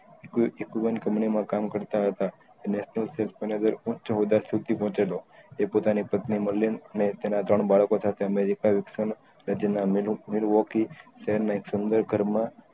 company માં કામ કરતા હતા વધાર શુટી પહુચેલો એ પોતાની પત્ની મરલીન અને તેના ત્રણ બાળકો સાથે અમેરિકા વિક્ષન નેજેમના મેલુવોરકી સેહેર ના એજ સુંદર ઘર માં